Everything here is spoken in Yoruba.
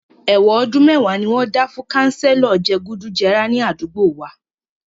Èwọ̀n ọdún mẹ́wàá ni wọ́n dá fún kanselo je gùdù jẹrà ní àdúgbò wa